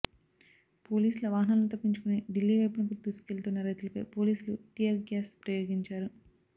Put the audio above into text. పోలీసుల వాహానాలను తప్పించుకొని ఢిల్లీ వైపునకు దూసుకొస్తున్న రైతులపై పోలీసులు టియర్ గ్యాస్ ప్రయోగించారు